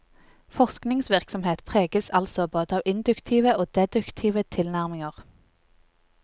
Forskningsvirksomhet preges altså både av induktive og deduktive tilnærminger.